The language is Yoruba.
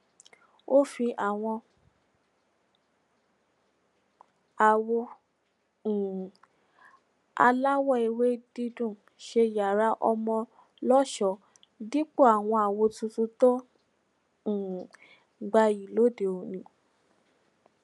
ó fi àwọn àwò um aláwò ewé dídùn ṣe yàrá ọmọ lọṣọọ dípò àwọn àwò tuntun tó um gbayì lode oni